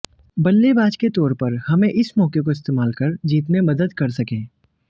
बल्लेबाज के तौर पर हमें इस मौके को इस्तेमाल कर जीत में मदद कर सकें